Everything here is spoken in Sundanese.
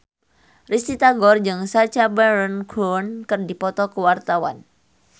Risty Tagor jeung Sacha Baron Cohen keur dipoto ku wartawan